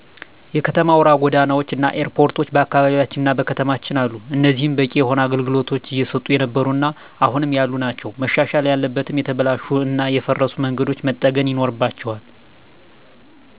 የከተማ አውራ ጎዳናዎች እና ኤርፖርቶች በአካባቢያችንና በከተማችን አሉ። እኒህም በቂ የሆነ አገልግሎቶች እየሰጡ የነበሩ እና አሁንም ያሉ ናቸው። መሻሻል ያለበትም የተበላሹ እና የፈረሱ መንገዶች መጠገን ይኖርባቸዋል።